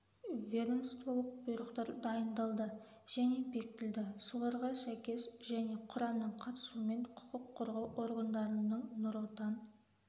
ведомстволық бұйрықтар дайындалды және бекітілді соларға сәйкес және құрамның қатысуымен құқық қорғау органдарының нұр отан